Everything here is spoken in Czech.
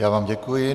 Já vám děkuji.